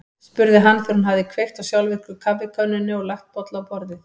spurði hann þegar hún hafði kveikt á sjálfvirku kaffikönnunni og lagt bolla á borðið.